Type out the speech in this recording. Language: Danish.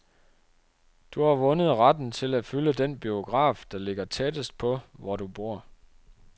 Du har vundet retten til at fylde den biograf, der ligger tættest på, hvor du bor.